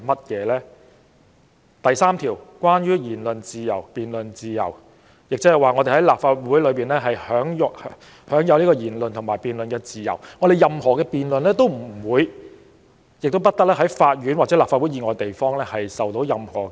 《條例》第3條關於言論自由和辯論自由，即我們在立法會享有言論和辯論自由，任何辯論都不會、亦不得在法院或立法會以外地方受到質疑。